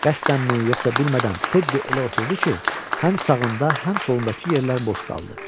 Qəsdənmi, yoxsa bilmədən Tedi elə oturdu ki, həm sağında, həm solundakı yerlər boş qaldı.